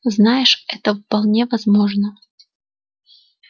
знаешь это вполне возможно